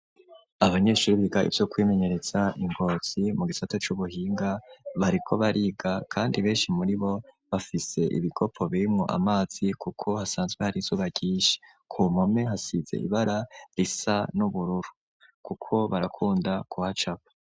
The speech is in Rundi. Abanyeshuri biga ivyo kwimenyereza i ngozi mu gisata c'ubuhinga bariko bariga kandi benshi muri bo bafise ibikopo birimwo amazi kuko hasanzwe har'izuba ryinshi ku mpome hasize ibara risa n'ubururu kuko barakunda kuhacapa.